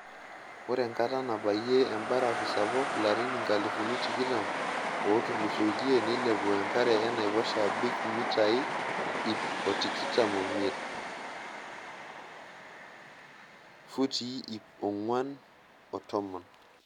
Ore enkata nabayie embarafu sapuk larin nkalifuni tikitam ootulusoitie neilepua enkare enaiposha abaiki mitai iip otikitam omiet[futii iip ongwan o tomon].